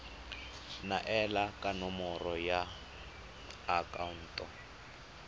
neelana ka nomoro ya akhaonto